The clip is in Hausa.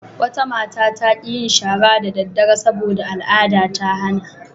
Wata mata ta ƙi yin shara da daddare sabo da al'ada ta hana.